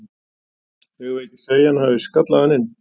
Eigum við ekki að segja að hann hafi skallað hann inn?